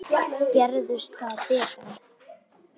Gerist það betra.